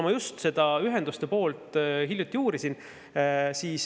Ma just hiljuti seda ühenduste poolt uurisin.